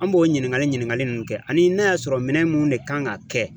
An b'o ɲininkali ɲininkaliw kɛ ani n'a y'a sɔrɔ minɛn mun ne kan ka kɛ